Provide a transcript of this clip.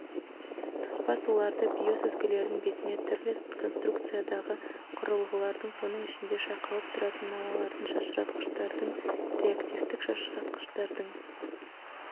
тоспа суларды биосүзгілердің бетіне түрлі конструкциядағы құрылғылардың соның ішінде шайқалып тұратын науалардың шашыратқыштардың реактивтік шашқыштардың